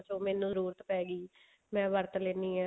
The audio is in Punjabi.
ਮੈਨੂੰ ਜਰੂਰਤ ਪੈਗੀ ਮੈਂ ਵਰਤ ਲੈਣੀ ਹਾਂ